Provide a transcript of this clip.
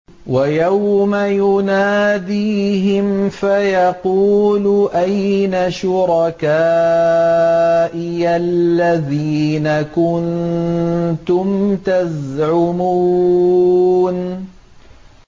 وَيَوْمَ يُنَادِيهِمْ فَيَقُولُ أَيْنَ شُرَكَائِيَ الَّذِينَ كُنتُمْ تَزْعُمُونَ